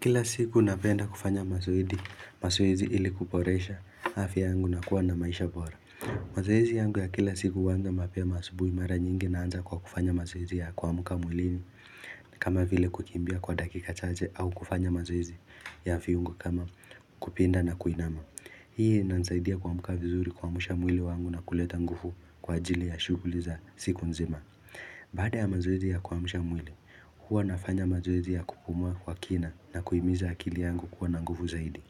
Kila siku napenda kufanya mazoezi, mazoezi ili kuporesha hafya yangu na kuwa na maisha bora mazoezi yangu ya kila siku uwanza mapema asubui mara nyingi naanza kwa kufanya mazoezi ya kuamuka mwilini kama vile kukimbia kwa dakika chache au kufanya mazoezi ya fiungo kama kupinda na kuinama Hii inanisaidia kuamuka vizuri kuamusha mwili wangu na kuleta ngufu kwa ajili ya shuguli za siku nzima Baada ya mazoezi ya kuamsha mwili, huwa nafanya mazoezi ya kupumua kwa kina na kuhimiza akili yangu kwa na nguvu zaidi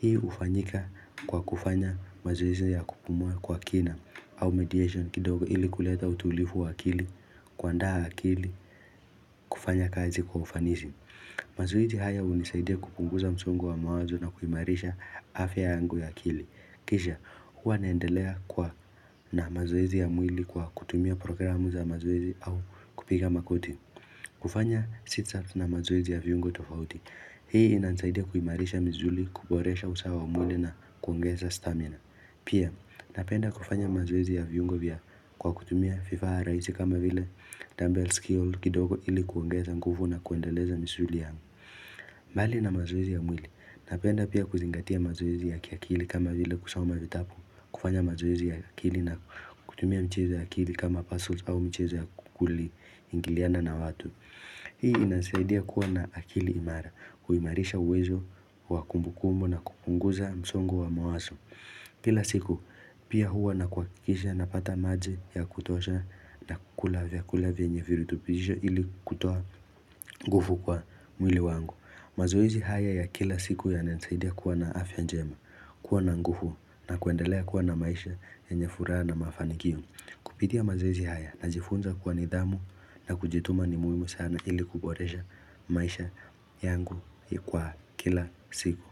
Hii ufanyika kwa kufanya mazoezi ya kupumua kwa kina au mediation kidogo ili kuleta utulifu akili, kuandaa akili, kufanya kazi kwa ufanisi mazoezi haya unisaidia kupunguza msongo wa mawazo na kuimarisha afya yangu ya akili Kisha, huwa naendelea kwa na mazoezi ya mwili kwa kutumia programu za mazoezi au kupiga makoti kufanya sit ups na mazoezi ya viungo tofauti Hii inasaidia kuimarisha misuli, kuboresha usawa wa mwili na kuongeza stamina Pia, napenda kufanya mazoezi ya viungo vya kwa kutumia fifaa raisi kama vile Dumbbell Skull kidogo ili kuongeza nguvu na kuendeleza misuli yangu mbali na mazoezi ya mwili, napenda pia kuzingatia mazoezi ya kiakili kama vile kusoma vitapu, kufanya mazoezi ya akili na kutumia michezo ya akili kama pazzle au mchezo ya kuli ingiliana na watu. Hii inasaidia kuwa na akili imara, huimarisha uwezo, wa kumbu kumbu na kupunguza msongo wa mawaso. Kila siku, pia huwa na kuakikisha napata maji ya kutosha na kukula vyakula vyenye virutupisho ili kutoa ngufu kwa mwili wangu. Mazoezi haya ya kila siku yananisaidia kuwa na afya njema, kuwa na nguvu na kuendelea kuwa na maisha yenye furaha na mafanikio. Kupitia mazoezi haya na jifunza kuwa nidhamu na kujituma ni muhimu sana ili kuboresha maisha yangu ya kwa kila siku.